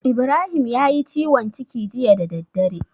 Ibrahim yayi ciwon ciki jiya da daddare.